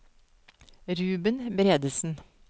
Ruben Bredesen